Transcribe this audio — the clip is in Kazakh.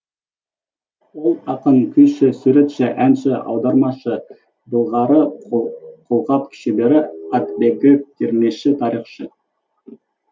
ол ақын күйші суретші әнші аудармашы былғары қолғап шебері атбегі термеші тарихшы